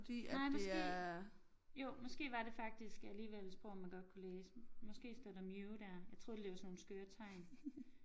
Nej måske jo måske var det faktisk alligevel et sprog man godt kunne læse måske står der mew der jeg tror de laver sådan nogle skøre tegn